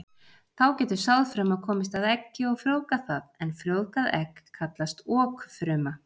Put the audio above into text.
Þá getur sáðfruma komist að eggi og frjóvgað það, en frjóvgað egg kallast okfruma.